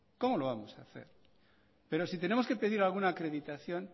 cómo lo vamos a hacer pero si tenemos que pedir alguna acreditación